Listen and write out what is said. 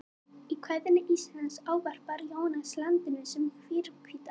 Í kvæðinu Ísland ávarpar Jónas landið sem hrímhvíta